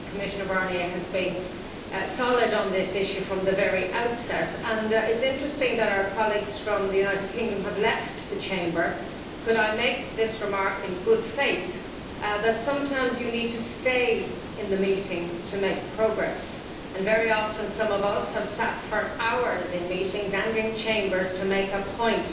I know that Commissioner Barnier has been solid on this issue from the very outset, and it is interesting that our colleagues from the United Kingdom have left the Chamber. Could I remark, in good faith, that sometimes you need to stay in the meeting to make progress, and very often some of us have sat for hours in meetings and in chambers to make a point,